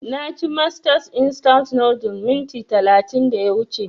Na ci masters instant noodles minti talatin da ya wuce